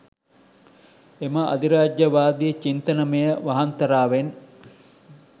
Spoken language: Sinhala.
එම අධිරාජ්‍යයවාදී චින්තනමය වහන්තරාවෙන්